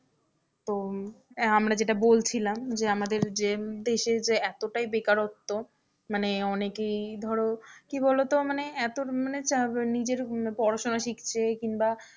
তো আমরা যেটা বলছিলাম যে আমাদের যে দেশের যে এতোটাই বেকারত্ব মানে অনেকেই ধরো কি বলতো মানে এতো মানে নিজের পড়াশোনা শিখছে কিংবা,